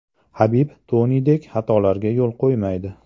Habib Tonidek xatolarga yo‘l qo‘ymaydi.